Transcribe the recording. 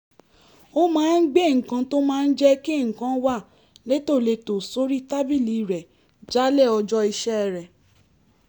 ó máa ń gbé nǹkan tó máa ń jẹ́ kí nǹkan wà létòlétò sórí tábìlì rẹ̀ jálẹ̀ ọjọ́ iṣẹ́ rẹ̀